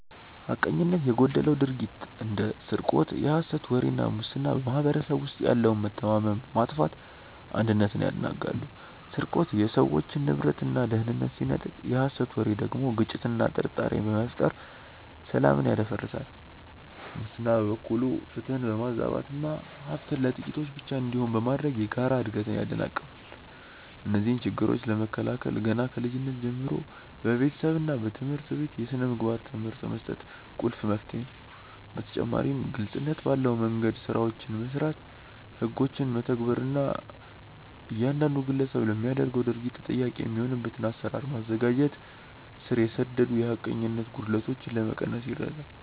ሐቀኝነት የጎደለው ድርጊት እንደ ስርቆት፣ የሐሰት ወሬ እና ሙስና በማኅበረሰቡ ውስጥ ያለውን መተማመን በማጥፋት አንድነትን ያናጋሉ። ስርቆት የሰዎችን ንብረትና ደህንነት ሲነጥቅ፣ የሐሰት ወሬ ደግሞ ግጭትንና ጥርጣሬን በመፍጠር ሰላምን ያደፈርሳል። ሙስና በበኩሉ ፍትህን በማዛባትና ሀብት ለጥቂቶች ብቻ እንዲሆን በማድረግ የጋራ እድገትን ያደናቅፋል። እነዚህን ችግሮች ለመከላከል ገና ከልጅነት ጀምሮ በቤተሰብና በትምህርት ቤት የሥነ ምግባር ትምህርት መስጠት ቁልፍ መፍትሄ ነው። በተጨማሪም ግልጽነት ባለ መንደምገድ ስራዎችን መስራት፣ ህጎችን መተግበር እና እያንዳንዱ ግለሰብ ለሚያደርገው ድርጊት ተጠያቂ የሚሆንበትን አሰራር ማዘጋጀት ስር የሰደዱ የሐቀኝነት ጉድለቶችን ለመቀነስ ይረዳል።